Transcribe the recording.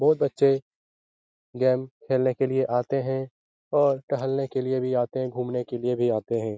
बहुत बच्चे गेम खेलने के लिए आते हैं और टहलने के लिए भी आते हैं घूमने के लिए भी आते हैं।